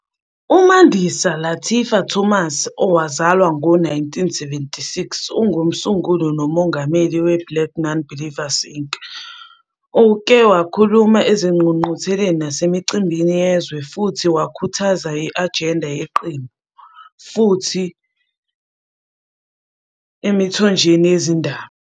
UMandisa Lateefah Thomas, owazalwa ngo-1976,ungumsunguli nomongameli we-Black Nonbelievers Inc. Uke wakhuluma ezingqungqutheleni nasemicimbini yezwe, futhi wakhuthaza i-ajenda yeqembu emithonjeni yezindaba.